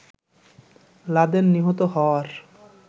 Laden নিহত হওয়ার